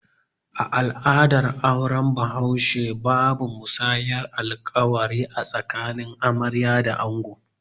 A al'adar auren bahaushe, babu musayar alƙawari a tsakanin amarya da ango